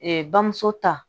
bamuso ta